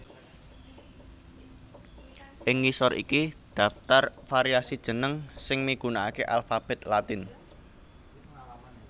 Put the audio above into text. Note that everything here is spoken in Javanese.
Ing ngisor iki dhaptar variasi jeneng sing migunakaké alfabet Latin